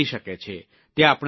તે આપણા સંસ્કાર છે